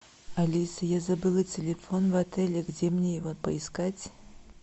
алиса я забыла телефон в отеле где мне его поискать